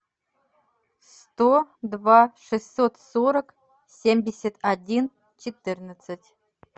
сто два шестьсот сорок семьдесят один четырнадцать